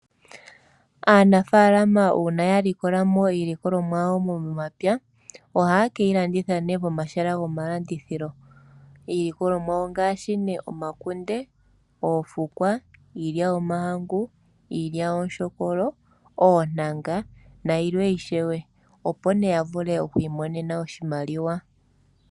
Aanafaalama uuna ya likola mo iilikolomwa yawo momapya ohaye ke yi landitha pomahala gomalandithilo . Iilikolomwa ongaashi omakunde, oofukwa, iilya yomahangu, iilyaalyaaka, oontanga nayilwe, opo ya vule okwiimonena oshimaliwa.